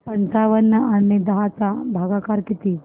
पंचावन्न आणि दहा चा भागाकार किती